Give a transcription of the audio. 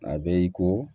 A bɛ i ko